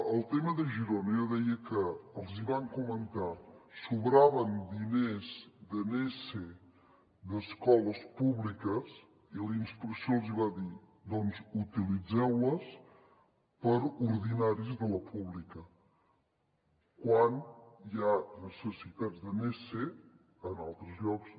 al tema de girona jo deia que els hi van comentar sobraven diners de nese d’escoles públiques i la inspecció els hi va dir doncs utilitzeu los per a ordinaris de la pública quan hi ha necessitats de nese en altres llocs